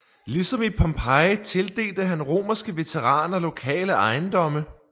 Ligesom i Pompeji tildelte han romerske veteraner lokale ejendomme